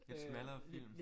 Lidt smallere film